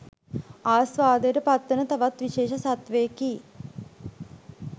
ආස්වාදයට පත්වන තවත් විශේෂ සත්වයෙකි